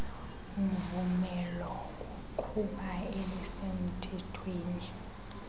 mvum elokuqhuba elisemthethweni